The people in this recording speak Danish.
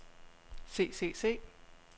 se se se